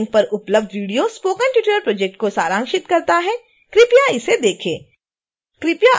निम्नलिखित लिंक पर उपलब्ध वीडियो स्पोकन ट्यूटोरियल प्रोजेक्ट को सारांशित करता है